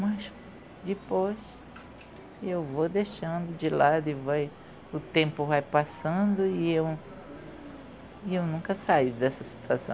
Mas depois eu vou deixando de lado e vai o tempo vai passando e eu e eu nunca saio dessa situação.